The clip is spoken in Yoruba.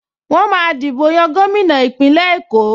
Wọ́n máa dìbò yan gómìnà Ìpínlẹ̀ Èkó